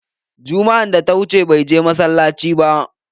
Jumma'an da ta wuce, bai je masallaci ba.